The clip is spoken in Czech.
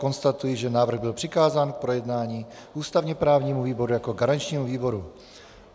Konstatuji, že návrh byl přikázán k projednání ústavně právnímu výboru jako garančnímu výboru.